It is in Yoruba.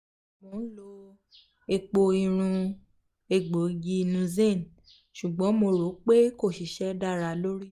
mo n lo epo irun egboigi nuzen ṣugbọn mo ro pe ko sise dara lori mi